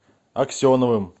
аксеновым